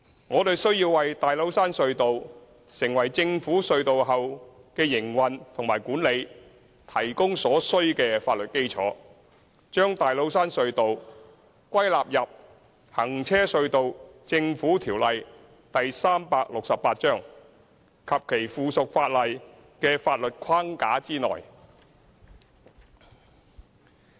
我們需要為大老山隧道成為政府隧道後的營運和管理提供所需的法律基礎，將大老山隧道歸納入《行車隧道條例》及其附屬法例的法律框架內。